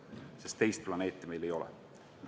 Sest teist planeeti meil ei ole.